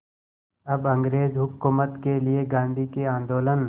अब अंग्रेज़ हुकूमत के लिए गांधी के आंदोलन